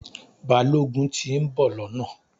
Balógun ti ń bò lọ́nà